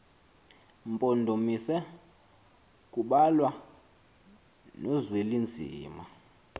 mpondomise kubalwa nozwelinzima